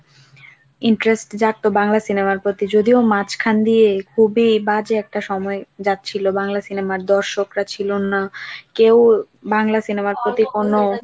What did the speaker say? interest জাগত বাংলা cinema র প্রতি যদিও মাঝখান দিয়ে খুবই বাজে একটা সময় যাচ্ছিলো বাংলা cinema র দর্শকরা ছিল না, কেও বাংলা cinema